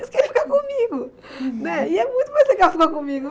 Eles querem ficar comigo né, e é muito mais legal ficar comigo.